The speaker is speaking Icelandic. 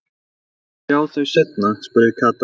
Megum við sjá þau seinna? spurði Kata.